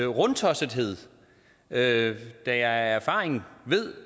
rundtossethed da jeg af erfaring ved